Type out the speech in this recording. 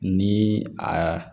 Ni a